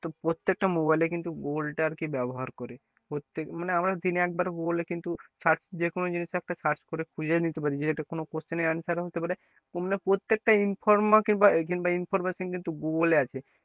তোর প্রত্যেকটা mobile এ কিন্তু google টা আর কি ব্যবহার করে প্রত্যেক মানে আমরা দিন এ একবার google এ কিন্তু search যে কোনো জিনিস একটা search করে খুঁজে নিতে পারবি একটা কোনো question এর answer ও হতে পারে কোনো না প্রত্যেকটা কিংবা information কিন্তু google এ আছে,